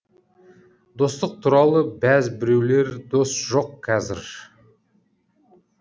достық туралыбәз біреулер дос жоқ қазір